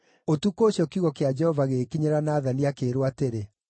Ũtukũ ũcio kiugo kĩa Jehova gĩgĩkinyĩra Nathani, akĩĩrwo atĩrĩ: